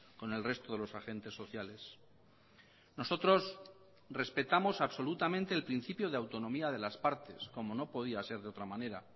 con el resto de los agentes sociales nosotros respetamos absolutamente el principio de autonomía de las partes como no podía ser de otra manera